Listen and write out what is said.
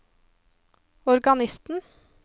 organisten